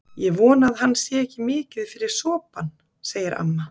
Ég vona að hann sé ekki mikið fyrir sopann, segir amma.